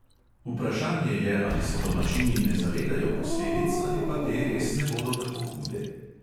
Vprašanje je, ali se domačini ne zavedajo posledic ali pa te res ne bodo tako hude.